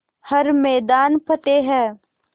हर मैदान फ़तेह